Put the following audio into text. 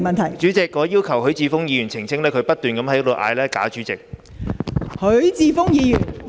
代理主席，許智峯議員在不斷高呼"假主席"，我要求他澄清。